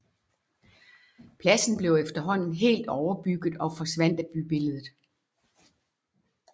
Pladsen blev efterhånden helt overbygget og forsvandt af bybilledet